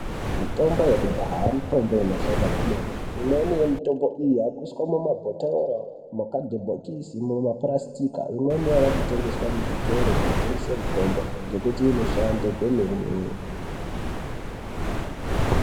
Mitombo yekudhaya mitombo inoshanda kwemene imweni yemitombo iyi imweni iri mumabhotoro imweni mumapirasitiki imweni yavakutengeswa muzvitoro zvinotengeswa mitombo ngekuti inoshanda kwemene.